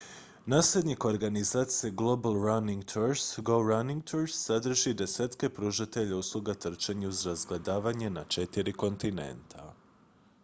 nasljednik organizacije global running tours go running tours sadrži desetke pružatelja usluga trčanja uz razgledavanje na četiri kontinenta